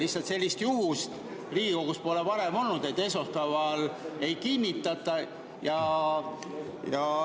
Lihtsalt sellist juhust pole Riigikogus varem olnud, et esmaspäeval ei kinnitata.